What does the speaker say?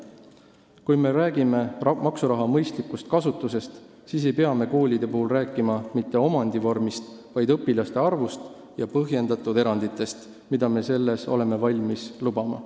Kui me räägime maksuraha mõistlikust kasutusest, siis ei pea me koolide puhul rääkima mitte omandivormist, vaid õpilaste arvust ja põhjendatud eranditest, mida me oleme valmis lubama.